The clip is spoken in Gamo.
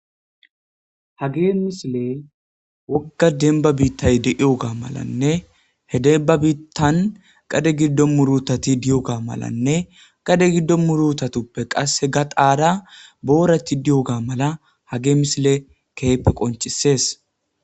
ha gee misile wogga denba biittay de iyoga malanne he demba biittan qade giddo murutati diyoga malanne qade giddo murutatuppe qashe ga qaara boorati diyoga mala ha gee misile keyppe qoncisees